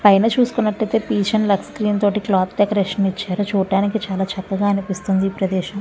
పైన చూసికూనటైతే peach and lux green cloth తోటి డెకొరేషన్ ఇచ్చారు చూడానికి చాల చక్కగా వుంది ఈ ప్రదేశం.